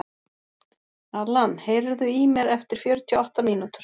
Alan, heyrðu í mér eftir fjörutíu og átta mínútur.